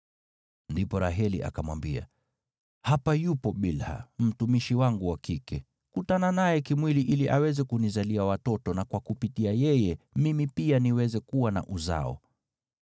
Ndipo Raheli akamwambia, “Hapa yupo Bilha, mtumishi wangu wa kike. Kutana naye kimwili ili aweze kunizalia watoto na kwa kupitia yeye mimi pia niweze kuwa na uzao.”